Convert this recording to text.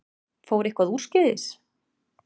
Fór eitthvað úrskeiðis?